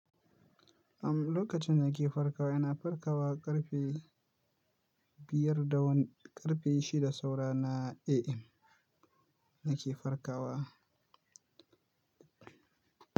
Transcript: Am, lokacin dana ke farkawa ina farkawa ƙarfe biyar da wani, ƙarfe shida saura na AM nake farkawa.